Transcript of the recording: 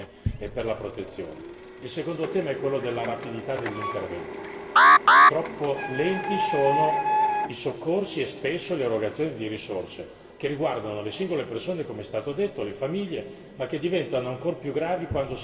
Il secondo tema è quello della rapidità degli interventi troppo lenti sono i soccorsi e spesso le erogazioni di risorse che riguardano le singole persone, come è stato detto, le famiglie, ma che diventano ancora più gravi quando si tratta di attività economiche.